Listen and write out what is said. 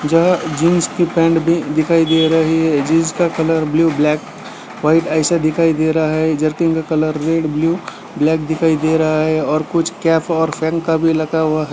जहाँ जीन्स की पैंट भी दिखाई दे रही है जीन्स का कलर ब्लू ब्लाक वाइट ऐसा दिखाई दे रहा है जर्किन का कलर रेड ब्लू ब्लैक दिखाई दे रहा है और कुछ कैप और फैन का भी लगा हुआ है।